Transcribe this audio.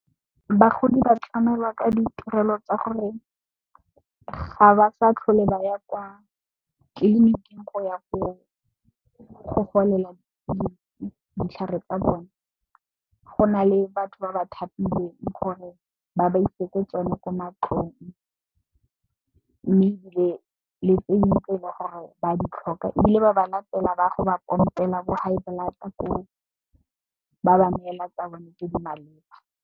Bagodi ba tlamelwa ka ditirelo tsa gore ga ba sa tlhole ba ya kwa tleliniking go ya go golela le ditlhare tsa bone go na le batho ba ba thapilweng gore ba ba isetse tsone ko matlong. Mme, ebile le tse dingwe tse le gore ba di tlhoka ebile, ba ba latela ba go ba pompelang bo high blood koo, ba ba neela tsa bone tse di maleba.